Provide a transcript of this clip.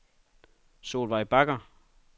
Solveig Bagger